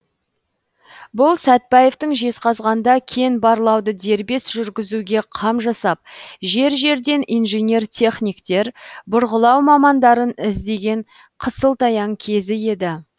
бұл сәтбаевтың жезқазғанда кен барлауды дербес жүргізуге қам жасап жер жерден инженер техниктер бұрғылау мамандарын іздеген қысылтаяң кезі еді